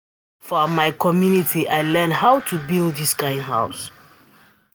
Na for my community I learn how to build dis kind of house.